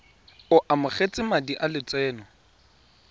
o amogetse madi a lotseno